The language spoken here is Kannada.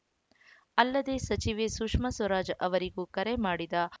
ಅಲ್ಲದೆ ಸಚಿವೆ ಸುಷ್ಮಾ ಸ್ವರಾಜ್‌ ಅವರಿಗೂ ಕರೆ ಮಾಡಿದ ಹ್